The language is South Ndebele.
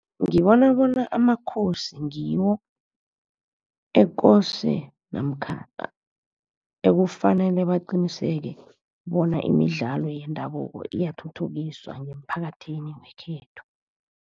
Ngibona bona amakhosi ngiwo ekose namkha ekufanele baqiniseke bona imidlalo yendabuko iyathuthukiswa ngemphakathini wekhethu.